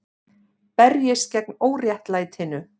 Berjist gegn óréttlætinu